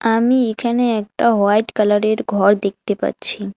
আমি এখানে একটা হোয়াইট কালারের ঘর দেখতে পাচ্ছি।